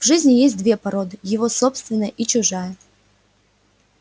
в жизни есть две породы его собственная и чужая